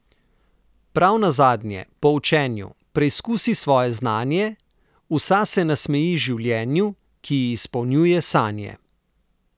Prav nazadnje, po učenju, preizkusi svoje znanje, vsa se nasmeji življenju, ki ji izpolnjuje sanje.